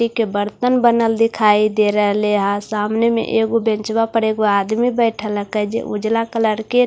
एके बर्तन बनल दिखाई दे रह लिया है सामने में एक ऊ बैंचवा पर एक वो आदमी बैठला का जे ये ऊजलवा कलर के--